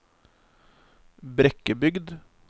Brekkebygd